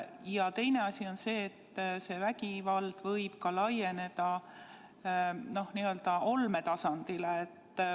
Ja teine asi on see, et see vägivald võib ka laieneda n-ö olmetasandile.